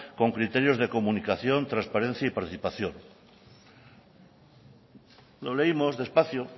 con criterios de comunicación transparencia y participación lo leímos despacio